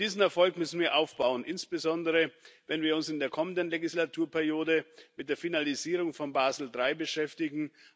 Auf diesen Erfolg müssen wir aufbauen, insbesondere wenn wir uns in der kommenden Wahlperiode mit der Finalisierung von Basel III beschäftigen.